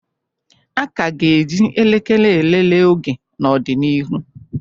A ka ga-eji elekere elelee oge n'ọdịnihu